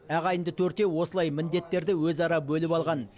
ағайынды төртеу осылай міндеттерді өзара бөліп алған